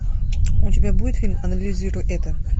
у тебя будет фильм анализируй это